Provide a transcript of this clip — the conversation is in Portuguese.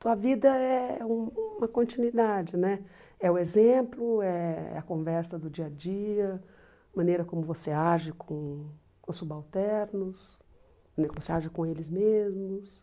Tua vida é u uma continuidade né, é o exemplo, é a conversa do dia a dia, maneira como você age com os subalternos, como você age com eles mesmos.